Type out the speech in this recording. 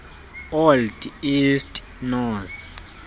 old east norse